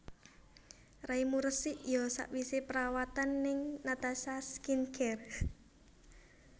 Raimu resik yo sakwise perawatan ning Natasha Skin Care